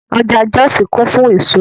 Ọjà Jọ́òsì kún fún èso